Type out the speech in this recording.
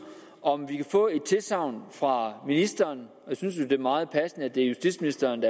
om vi kan få et tilsagn fra ministeren og jeg synes det er meget passende at det er justitsministeren